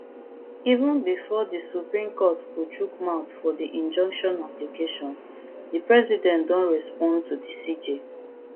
even bifor di supreme court go chook mouth for di injunction application di president don respond to di cj